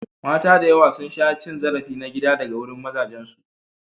Mata da yawa sun sha cin zarafi na gida daga wurin mazajensu.